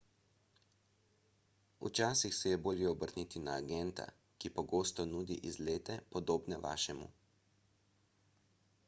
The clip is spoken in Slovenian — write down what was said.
včasih se je bolje obrniti na agenta ki pogosto nudi izlete podobne vašemu